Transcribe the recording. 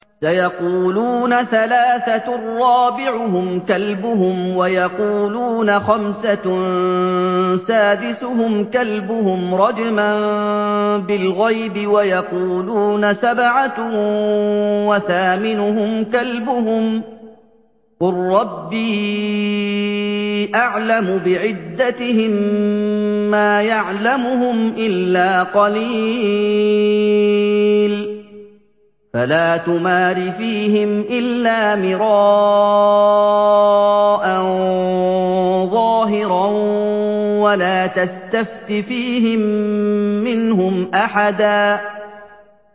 سَيَقُولُونَ ثَلَاثَةٌ رَّابِعُهُمْ كَلْبُهُمْ وَيَقُولُونَ خَمْسَةٌ سَادِسُهُمْ كَلْبُهُمْ رَجْمًا بِالْغَيْبِ ۖ وَيَقُولُونَ سَبْعَةٌ وَثَامِنُهُمْ كَلْبُهُمْ ۚ قُل رَّبِّي أَعْلَمُ بِعِدَّتِهِم مَّا يَعْلَمُهُمْ إِلَّا قَلِيلٌ ۗ فَلَا تُمَارِ فِيهِمْ إِلَّا مِرَاءً ظَاهِرًا وَلَا تَسْتَفْتِ فِيهِم مِّنْهُمْ أَحَدًا